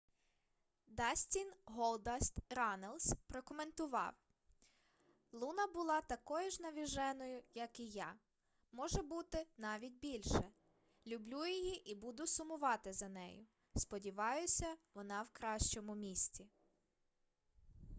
дастін голдаст раннелс прокоментував: луна була такою ж навіженою як і я...може бути навіть більше...люблю її і буду сумувати за нею...сподіваюся вона в кращому місці